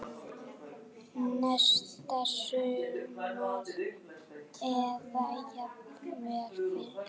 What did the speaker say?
Næsta sumar eða jafnvel fyrr.